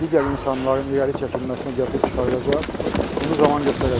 digər insanların irəli çəkilməsinə gətirib çıxardacaq, bunu zaman göstərəcəkdir.